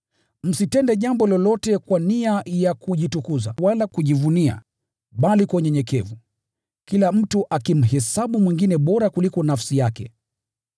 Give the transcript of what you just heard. Msitende jambo lolote kwa nia ya kujitukuza wala kujivuna, bali kwa unyenyekevu kila mtu amhesabu mwingine bora kuliko nafsi yake.